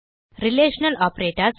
relational operators